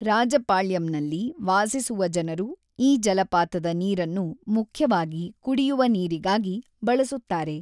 ರಾಜಪಾಳ್ಯಂನಲ್ಲಿ ವಾಸಿಸುವ ಜನರು ಈ ಜಲಪಾತದ ನೀರನ್ನು ಮುಖ್ಯವಾಗಿ ಕುಡಿಯುವ ನೀರಿಗಾಗಿ ಬಳಸುತ್ತಾರೆ.